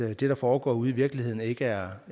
at det der foregår ude i virkeligheden ikke er